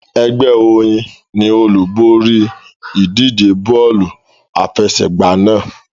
Ẹgbẹ́ Oyin ni olúborí ìdíje bọ́ọ̀lù àfẹsẹ̀gbá náà.